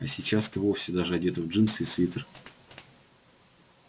а сейчас ты вовсе даже одета в джинсы и свитер